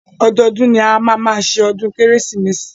Ọdọọdún ni a máa má ṣọdún kérésìmesì.